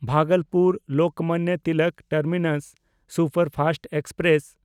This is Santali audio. ᱵᱷᱟᱜᱚᱞᱯᱩᱨ–ᱞᱳᱠᱢᱟᱱᱱᱚ ᱛᱤᱞᱚᱠ ᱴᱟᱨᱢᱤᱱᱟᱥ ᱥᱩᱯᱟᱨᱯᱷᱟᱥᱴ ᱮᱠᱥᱯᱨᱮᱥ